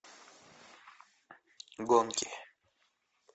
гонки